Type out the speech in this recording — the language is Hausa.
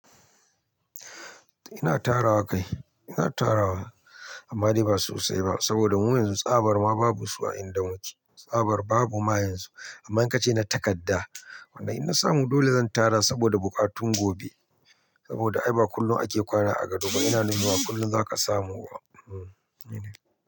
Ina tara wa kai, ina tara wa amma dai ba sosai ba saboda mun yanzu tsabar ma babu su a inda muke, tsabar babu ma yanzu amma in ka ce na takadda, wannan in na samu dole zan tara saboda buƙatun gobe. Saboda ai ba kullum ake kwana a gado ba ina nufin ba kullum zaka samu ba.